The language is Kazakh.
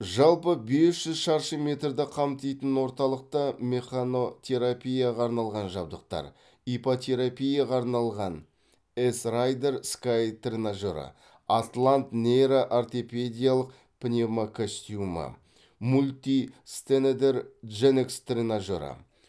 жалпы бес жүз шаршы метрді қамтитын орталықта механотерапияға арналған жабдықтар иппотерапияға арналған эс райдер скай тренажері атлант нейро ортопедиялық пневмокостюмі мультистенедер дженкс тренажері